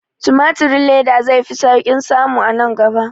Timatirin leda zai fi sauƙin samu a nan gaba